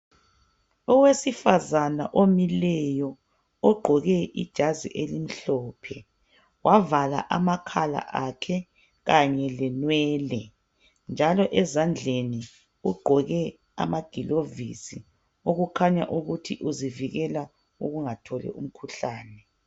owesifazana omileyo ogqoke ijazi elimhlophe wavala amakhala akhe kanye le nwele njalo ezandleni ugqoke amagilovisi okukhanya ukuthi uzivikela ukungatholi umkhuhlane